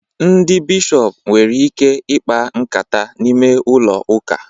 Ndị bishọpu nwere ike ikpa nkata n'ime ụlọ uka